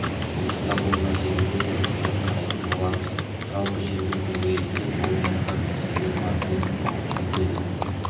сондықтан бұл мәселені де мұқият қарайтын боламыз жалпы жердің төңірегінде толып жатқан мәселе бар деп түйіндеді